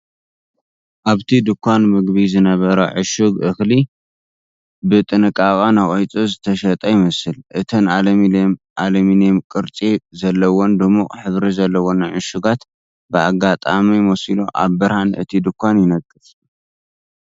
ኣብቲ ድኳን ምግቢ ዝነበረ ዕሹግ እኽሊ ብጥንቃቐ ነቒጹ ዝተሸጠ ይመስል። እተን ኣሉሚንየም ቅርጺ ዘለወንን ድሙቕ ሕብሪ ዘለወንን ዕሹጋት ብኣጋጣሚ መሲሉ ኣብ ብርሃን እቲ ድኳን ይነቅጻ።